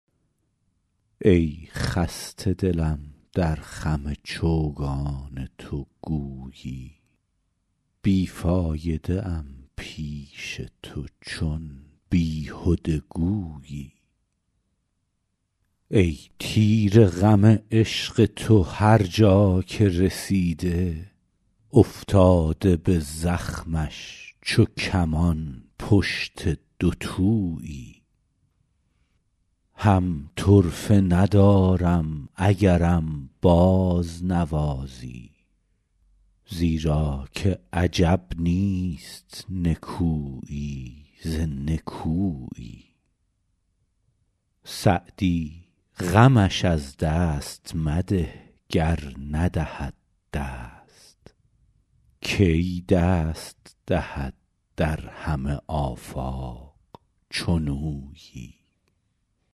ای خسته دلم در خم چوگان تو گویی بی فایده ام پیش تو چون بیهده گویی ای تیر غم عشق تو هر جا که رسیده افتاده به زخمش چو کمان پشت دوتویی هم طرفه ندارم اگرم بازنوازی زیرا که عجب نیست نکویی ز نکویی سعدی غمش از دست مده گر ندهد دست کی دست دهد در همه آفاق چنویی